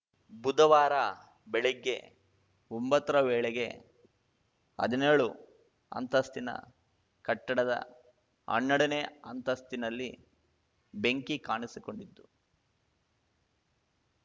ಬುಧವಾರ ಬೆಳಗ್ಗೆ ಒಂಬತ್ತರ ವೇಳೆಗೆ ಹದಿನೇಳು ಅಂತಸ್ತಿನ ಕಟ್ಟಡದ ಹನ್ನೆರಡನೇ ಅಂತಸ್ತಿನಲ್ಲಿ ಬೆಂಕಿ ಕಾಣಿಸಿಕೊಂಡಿತ್ತು